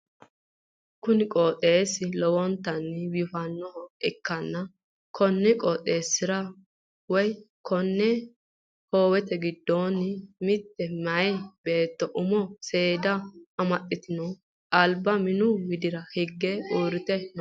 kuniqooxeessi lowontanni biifannoha ikkanna, konni qooxeessira woy konni hoowe giddoonni mitte meyaa beetto umo seeddise amaxxitinoti alba minu widira higge uurrite no.